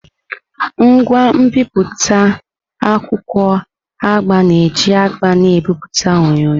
Ngwa mbipụta akwụkwọ agba na-eji agba na-ebipụta onyonyo.